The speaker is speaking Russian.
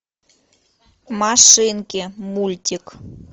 машинки мультик